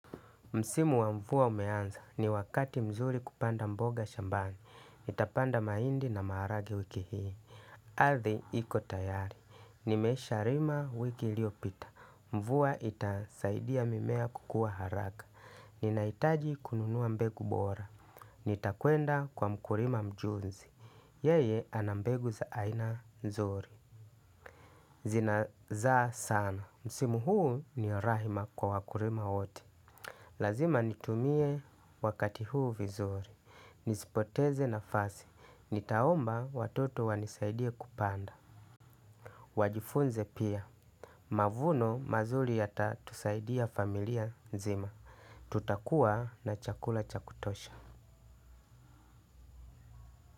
Msimu wa mvua umeanza ni wakati mzuri kupanda mboga shambani. Nitapanda mahindi na maharage wiki hii. Ardhi iko tayari. Nimesha rima wiki iliopita. Mvua itasaidia mimea kukua haraka. Ninahitaji kununua mbegu bora. Nitakwenda kwa mkulima mjuzi. Yeye anambegu za aina nzuri. Zina zaa sana. Msimu huu ni rahima kwa wakulima wote. Lazima nitumie wakati huu vizuri. Nisipoteze nafasi. Nitaomba watoto wanisaidie kupanda. Wajifunze pia. Mavuno mazuri yatatusaidia familia nzima. Tutakua na chakula cha kutosha.